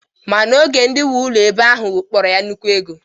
Mana oge ndị nwe ụlọ ebe ahụ kpọrọ ya nnukwu ego.